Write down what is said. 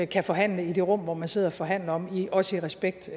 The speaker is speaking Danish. kan forhandle i det rum hvor man sidder og forhandler også respekt